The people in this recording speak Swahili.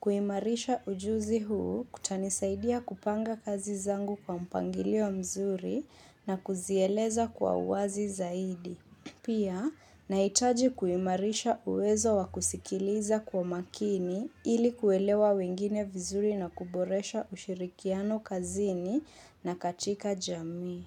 Kuimarisha ujuzi huu kutanisaidia kupanga kazi zangu kwa mpangilio wa mzuri na kuzieleza kwa uwazi zaidi. Pia, nahitaji kuimarisha uwezo wa kusikiliza kwa makini ili kuelewa wengine vizuri na kuboresha ushirikiano kazini na katika jami.